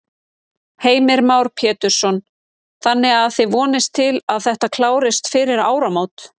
Heimir Már Pétursson: Þannig að þið vonist til að þetta klárist fyrir áramót?